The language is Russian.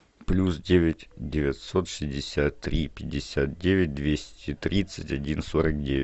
плюс девять девятьсот шестьдесят три пятьдесят девять двести тридцать один сорок девять